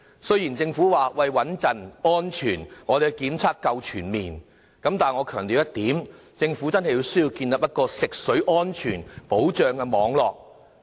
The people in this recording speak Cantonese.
雖然政府表示穩妥和安全，當局的檢測夠全面，但我強調一點，政府真的有需要建立一個食水安全保障的網絡，目的為何？